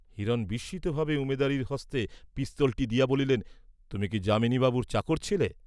হিরণ বিস্মিত ভাবে উমেদারের হস্তে পিস্তলটী দিয়া বলিলেন, তুমি কি যামিনীবাবুর চাকর ছিলে?